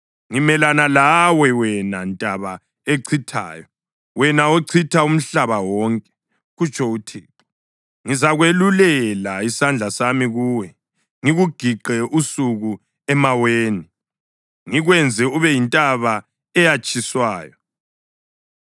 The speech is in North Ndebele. “Ngimelana lawe, wena ntaba echithayo, wena ochitha umhlaba wonke,” kutsho uThixo. “Ngizakwelulela isandla sami kuwe, ngikugiqe usuka emaweni, ngikwenze ube yintaba eyatshiswayo.